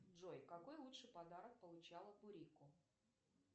джой какой лучший подарок получила пурико